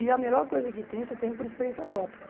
E a melhor coisa que tem, só tem por experiência própria.